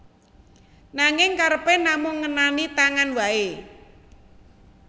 Nanging kerepé namung ngenani tangan waé